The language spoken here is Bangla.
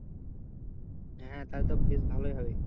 হ্যাঁ তাহলে তো বেশ ভালই হবে হ্যাঁ,